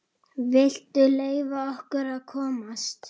VILTU LEYFA OKKUR AÐ KOMAST!